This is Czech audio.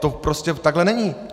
To prostě takhle není.